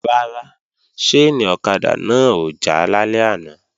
Rárá, ṣáìnì ọ̀kadà náà ò já lálẹ́ àná